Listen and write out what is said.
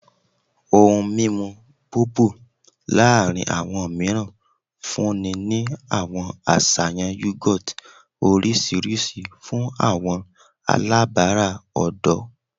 Ohun mimu Bobo laarin awọn miiran funni ni awọn aṣayan yogurt oriṣiriṣi fun awọn alabara ọdọ